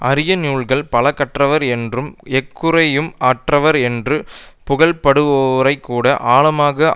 அரிய நூல்கள் பல கற்றவர் என்றும் எக்குறையும் அற்றவர் என்றும் புகழப்படுவோரைக்கூட ஆழமாக